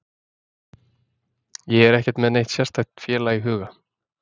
Ég er ekkert með neitt sérstakt félag í huga.